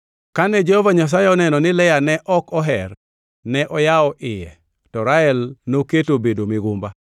Kane Jehova Nyasaye oneno ni Lea ne ok oher, ne oyawo iye to Rael noketo obedo migumba.